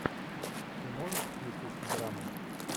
ты можешь включить драму